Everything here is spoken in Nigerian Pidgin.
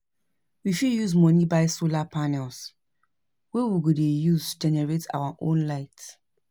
We fit use moni buy solar panels wey we go de use generate our own light